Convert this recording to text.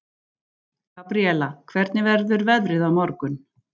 Gabríella, hvernig verður veðrið á morgun?